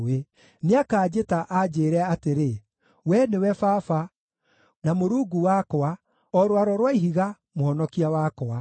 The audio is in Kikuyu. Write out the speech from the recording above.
Nĩakanjĩta anjĩĩre atĩrĩ, ‘Wee nĩwe Baba, na Mũrungu wakwa, o Rwaro rwa Ihiga, Mũhonokia wakwa.’